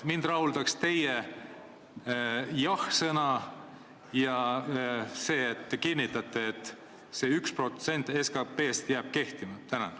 Mind rahuldaks teie jah-sõna, teie kinnitus, et see 1% SKP-st jääb kehtima.